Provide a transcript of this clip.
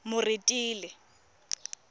moretele